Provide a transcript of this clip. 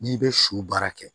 N'i bɛ su baara kɛ